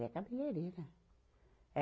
Ela é cabeleireira, é